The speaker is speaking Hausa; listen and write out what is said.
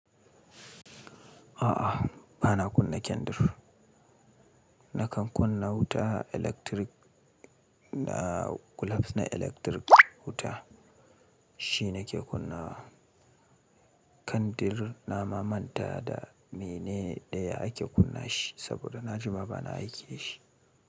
A'a, ba na kunna kandir. Nakan kunna wuta electric, da gulof na electric wuta shi nake kunna wa. Kandir na mamanta da mene daya ake kunna shi saboda na jima ba na aiki dashi shi.